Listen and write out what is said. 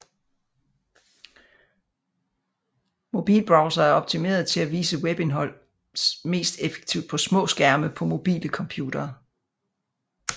Mobilbrowsere er optimerede til at vise webindhold mest effektivt på små skærme på mobile computere